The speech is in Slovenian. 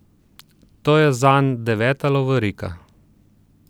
To je zanj deveta lovorika.